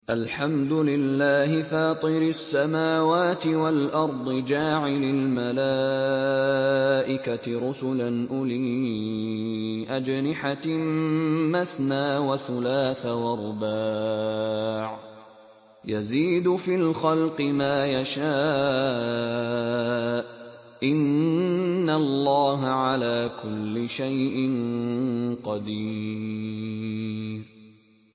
الْحَمْدُ لِلَّهِ فَاطِرِ السَّمَاوَاتِ وَالْأَرْضِ جَاعِلِ الْمَلَائِكَةِ رُسُلًا أُولِي أَجْنِحَةٍ مَّثْنَىٰ وَثُلَاثَ وَرُبَاعَ ۚ يَزِيدُ فِي الْخَلْقِ مَا يَشَاءُ ۚ إِنَّ اللَّهَ عَلَىٰ كُلِّ شَيْءٍ قَدِيرٌ